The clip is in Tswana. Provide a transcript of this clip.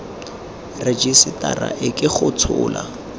rejisetara e ke go tshola